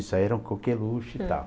Isso aí era um coqueluche e tal.